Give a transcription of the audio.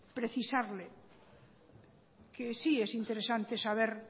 precisarle que sí es interesante saber